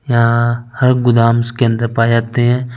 यहा हर गोदामस के अन्दर पाए जाते है ।